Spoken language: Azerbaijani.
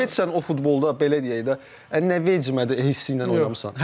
Heç sən o futbolda belə deyək də, nə vecimədir hissi ilə oynamısan?